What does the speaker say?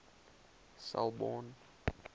selborne